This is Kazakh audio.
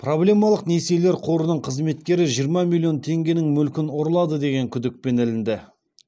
проблемалық несиелер қорының қызметкері жиырма миллион теңгенің мүлкін ұрлады деген күдікпен ілінді